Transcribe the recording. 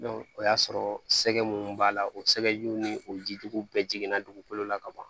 o y'a sɔrɔ sɛgɛ munnu b'a la o sɛgɛjiw ni o jijuguw bɛɛ jiginna dugukolo la ka ban